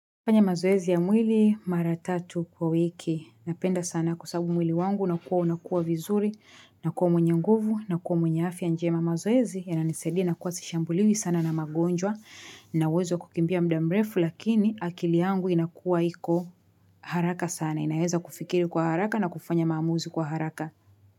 Fanya mazoezi ya mwili mara tatu kwa wiki. Napenda sana kwa sababu mwili wangu na kuwa unakuwa vizuri, na kuwa mwenye nguvu, na kuwa mwenye afya njema mazoezi yananisaidia nakuwa sishambuliwi sana na magonjwa na uwezo kukimbia muda mrefu lakini akili yangu inakuwa hiko haraka sana. Naeza kufikiri kwa haraka na kufanya mamuzi kwa haraka.